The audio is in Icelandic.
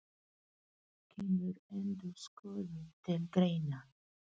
Kemur endurskoðun til greina?